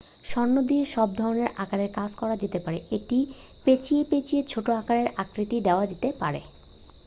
স্বর্ণ দিয়ে সব ধরণের আকারে কাজ করা যেতে পারে এটি পেঁচিয়ে পেঁচিয়ে ছোট আঁকারের আকৃতি দেওয়া যেতে পারে